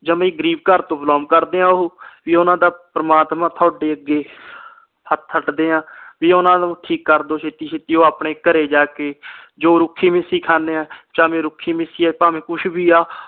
ਜਮਾ ਈ ਗਰੀਬ ਘਰ ਤੋਂ ਬ belong ਕਰਦੇ ਆ ਉਹ ਪੀ ਓਹਨਾ ਦਾ ਪ੍ਰਮਾਤਮਾ ਤੁਹਾਡੇ ਅੱਗੇ ਹੱਥ ਅੱਡਦੇ ਆ ਪੀ ਓਹਨਾ ਨੂੰ ਠੀਕ ਕਰਦੋ ਛੇਤੀ ਛੇਤੀ ਉਹ ਆਪਣੇ ਘਰੇ ਜਾ ਕੇ ਜੋ ਰੁਖੀ ਮਿਸੀ ਖਾਂਦੇ ਆ ਚਾਹੇ ਰੁਖੀ ਮਿਸੀ ਆ ਭਾਵੇ ਕੁਛ ਵੀ ਆ